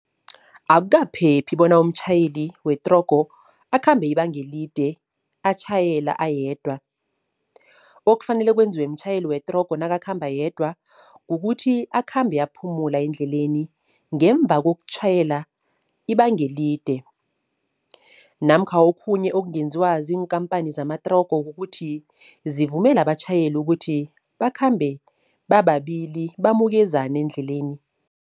Akukaphephi bona umtjhayeli wetrogo akhambe ibanga elide atjhayela ayedwa, okufanele kwenziwe mtjhayeli wetrogo nakakhamba yedwa kukuthi akhambe aphumula endleleni, ngemva kokutjhayela ibanga elide. Namkha okhunye okungenziwa ziinkhampani zamatrogo, kukuthi zivumele abatjhayeli ukuthi bakhambe bababili bamukezana endleleni.